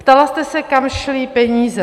Ptala jste se, kam šly peníze.